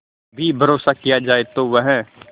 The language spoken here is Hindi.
भी भरोसा किया जाए तो वह